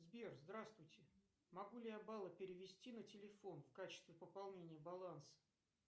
сбер здравствуйте могу ли я баллы перевести на телефон в качестве пополнения баланса